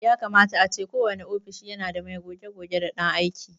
Yakama ace kowane ofishi yana da mai goge-goge da ɗan aike.